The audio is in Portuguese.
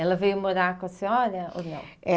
Ela veio morar com a senhora ou não? É